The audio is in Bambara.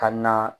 Ka na